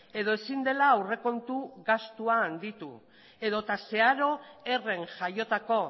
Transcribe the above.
edo ezin dela aurrekontu gastua handitu edota zeharo herren jaiotako